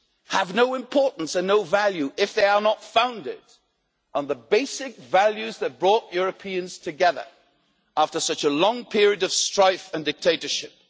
have no importance and no value if they are not founded on the basic values that brought Europeans together after such a long period of strife and dictatorship.